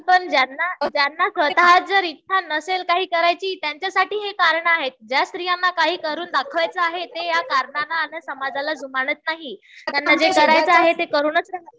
ज्यांना स्वतः च जर इच्छा नसेल काही करायची त्यांच्यासाठी हि कारणं आहेत. ज्या स्त्रियांना काही करून दाखवायचं आहे ते या कारणांला आणि समाजाला जुमानत नाहीत. त्यांना जे करायचं आहे ते करूनच राहतात